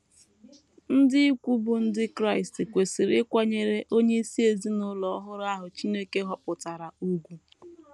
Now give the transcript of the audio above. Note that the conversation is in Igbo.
Ndị ikwu bụ́ ndị Kraịst kwesịrị ịkwanyere onyeisi ezinụlọ ọhụrụ ahụ Chineke họpụtara ùgwù.